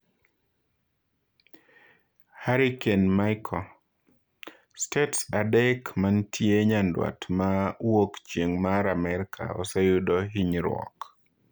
Hurricane Michael: Stets adek mantie nyandwat ma wuok chieng' mar Amerka oseyudo hinyruok